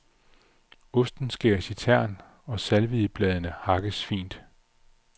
Osten skæres i tern og salviebladene hakkes fint.